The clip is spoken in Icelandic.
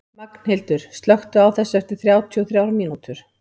Magnhildur, slökktu á þessu eftir þrjátíu og þrjár mínútur.